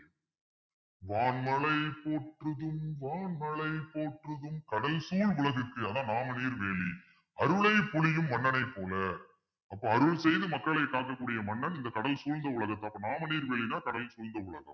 மாமழை போற்றுதும் மாமழை போற்றுதும் கடல் சூழ் உலகிற்கு அதான் நாமநீர் வேலி அருளை பொழியும் மன்னனைப் போல அப்ப அருள் செய்து மக்களைக் காக்கக்கூடிய மன்னன் இந்த கடல் சூழ்ந்த உலகத்தை அப்ப நாமநீர் வேலின்னா கடல் சூழ்ந்த உலகம்